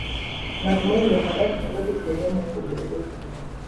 Ng'at moidho faras nyalo dhi kuonde mopogore opogore.